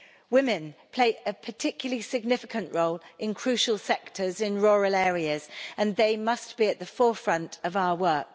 Women play a particularly significant role in crucial sectors in rural areas, and they must be at the forefront of our work.